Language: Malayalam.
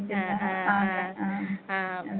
ആ ആ ആ ആ.